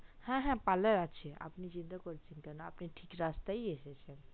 হ্যা হ্যা parlor আছে আপনে চিন্তা করছেন কেন আপনে ঠিক রাস্তায় ই এসেছেন